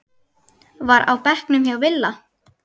var á bekknum hjá Villa.